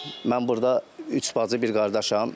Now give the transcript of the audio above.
Mən burda üç bacı, bir qardaşam.